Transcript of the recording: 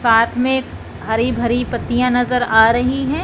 साथ में हरी भरी पत्तियां नजर आ रही हैं।